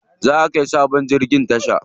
Za'a kai sabon jirgin tasha.